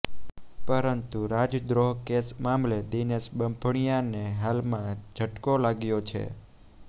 પરંતુ રાજદ્રોહ કેસ મામલે દિનેશ બાંભણિયાને હાલમાં ઝટકો વાગ્યો છે